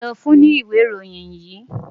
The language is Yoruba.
Ta ni ó fún ọ ní ìwé ìròyìn yìí?